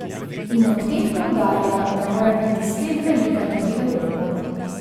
In ob tem poudarja, da mora biti spet velika tudi Evropa ...